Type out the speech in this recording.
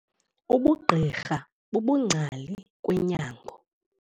Ubugqirha bubungcali kwenyango.